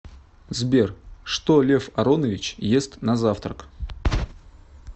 сбер что лев аронович ест на завтрак